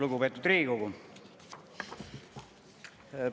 Lugupeetud Riigikogu!